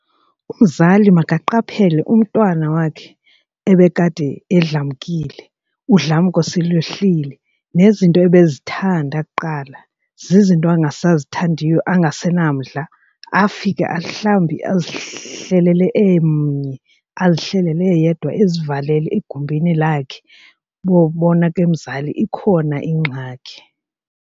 Umzali makaqaphele umntwana wakhe ebekade edlamkile udlamko selwehlile nezinto ebezithanda kuqala zizinto angasazithandiyo angasenamdla, afike mhlawumbi azihlelele emnye azihlelele yedwa ezivalele egumbini lakhe. Bowubona ke mzali ikhona ingxaki.